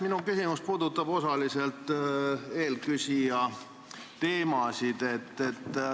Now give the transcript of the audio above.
Minu küsimus puudutab osaliselt eelküsija teemasid.